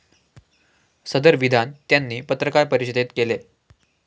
सदर विधान त्यांनी पत्रकार परिषदेत केले.